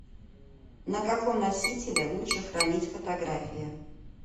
на каком носителе лучше хранить фотографии